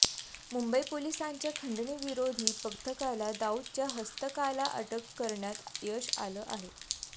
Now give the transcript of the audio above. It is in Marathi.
मुंबई पोलिसांच्या खंडणी विरोधी पथकाला दाऊदच्या हस्तकाला अटक करण्यात यश आलं आहे